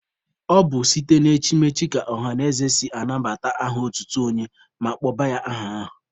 Ọ bụ site na echimechi ka ọhanaeze si anabata aha otutu onye ma kpọba ya aha ahụ.